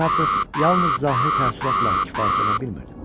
Mən artıq yalnız zahiri təəssüratla kifayətlənə bilmirdim.